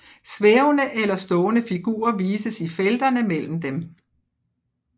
Svævende eller stående figurer vises i felterne mellem dem